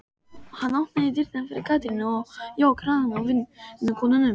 Hann opnaði dyrnar fyrir Katrínu og jók hraðann á vinnukonunum.